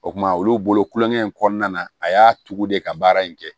O kumana olu bolo kulonkɛ in kɔnɔna na a y'a tugu de ka baara in kɛ